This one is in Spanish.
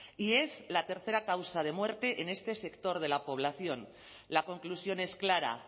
y es la tercera causa de muerte en este sector de la población la conclusión es clara